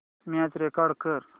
match record कर